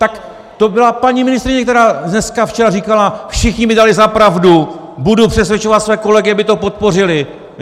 Tak to byla paní ministryně, která dneska, včera říkala: všichni mi dali za pravdu, budu přesvědčovat své kolegy, aby to podpořili.